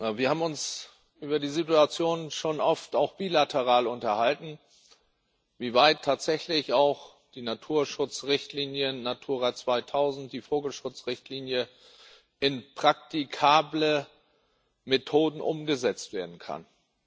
Wir haben uns über die Situation schon oft auch bilateral unterhalten, wie weit tatsächlich auch die Naturschutzrichtlinien Natura 2000, die Vogelschutzrichtlinie in praktikable Methoden umgesetzt werden können.